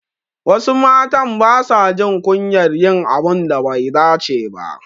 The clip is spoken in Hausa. Wasu matan basa jin kunyar yin abun da bai dace ba.